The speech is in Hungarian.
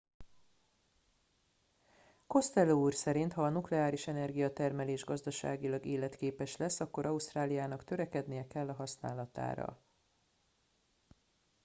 costello úr szerint ha a nukleáris energiatermelés gazdaságilag életképes lesz akkor ausztráliának törekednie kell a használatára